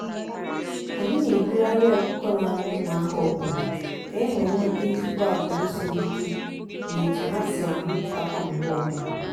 anyị na egbughari ọkụkọ n'amu nwa ahọ ọbụna ka enwe nwete ezigbo agwuru siri ike na etu ha si amu putakwa mgbe ọbụna.